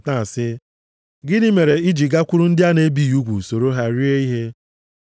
na-asị, “Gịnị mere ị ji gakwuru ndị a na-ebighị ugwu soro ha rie ihe?”